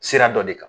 Sira dɔ de kan